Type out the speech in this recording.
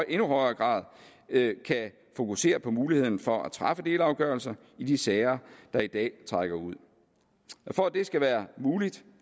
endnu højere grad kan fokusere på muligheden for at træffe delafgørelser i de sager der i dag trækker ud for at det skal være muligt